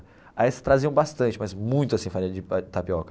Aí eles traziam bastante, mas muito assim farinha de tapioca.